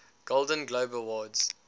golden globe awards